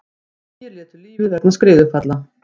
Tugir létu lífið vegna skriðufalla